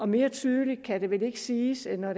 mere tydeligt kan det vel ikke siges end